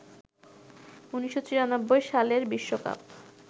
১৯৯৪ সালের বিশ্বকাপ